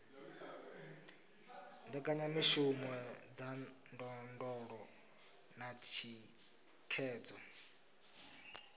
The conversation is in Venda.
mbekanyamishumo dza ndondolo na thikhedzo